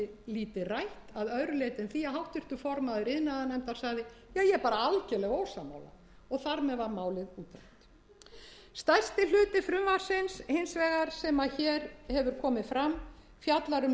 lítið rætt að öðru leyti en því að háttvirtur formaður iðnaðarnefndar sagði ég er bara algerlega ósammála og þar sem var málið útrætt stærsti hluti frumvarpsins hins vegar sem hér hefur komið fram fjallar um lög sem eru á forræði umhverfisráðuneytis